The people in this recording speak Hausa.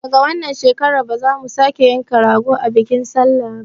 Daga wannan shekarar ba za mu sake yanka rago a bikin sallah ba